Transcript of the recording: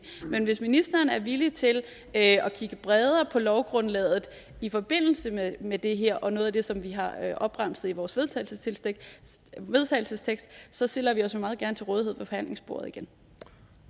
men hvis ministeren er villig til at kigge bredere på lovgrundlaget i forbindelse med det her og noget af det som vi har opremset i vores vedtagelsestekst så stiller vi os meget gerne til rådighed